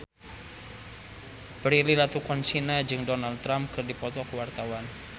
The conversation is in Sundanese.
Prilly Latuconsina jeung Donald Trump keur dipoto ku wartawan